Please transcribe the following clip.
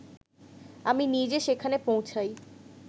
আমি নিজে সেখানে পৌঁছাই